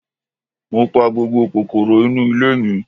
Mo pa gbogbo kòkòrò inú ilé mi.